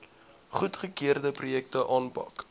goedgekeurde projekte aanpak